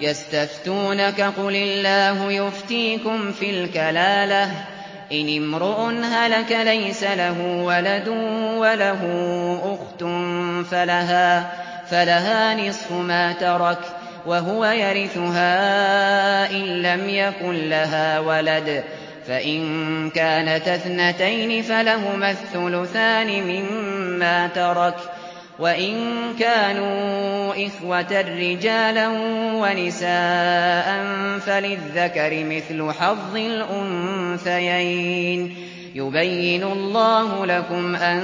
يَسْتَفْتُونَكَ قُلِ اللَّهُ يُفْتِيكُمْ فِي الْكَلَالَةِ ۚ إِنِ امْرُؤٌ هَلَكَ لَيْسَ لَهُ وَلَدٌ وَلَهُ أُخْتٌ فَلَهَا نِصْفُ مَا تَرَكَ ۚ وَهُوَ يَرِثُهَا إِن لَّمْ يَكُن لَّهَا وَلَدٌ ۚ فَإِن كَانَتَا اثْنَتَيْنِ فَلَهُمَا الثُّلُثَانِ مِمَّا تَرَكَ ۚ وَإِن كَانُوا إِخْوَةً رِّجَالًا وَنِسَاءً فَلِلذَّكَرِ مِثْلُ حَظِّ الْأُنثَيَيْنِ ۗ يُبَيِّنُ اللَّهُ لَكُمْ أَن